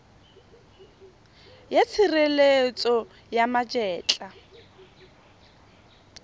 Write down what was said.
ya tshireletso ya ma etla